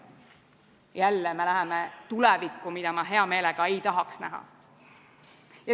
Jälle me läheme tulevikku, mida ma hea meelega ei tahaks näha.